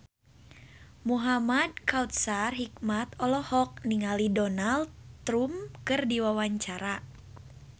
Muhamad Kautsar Hikmat olohok ningali Donald Trump keur diwawancara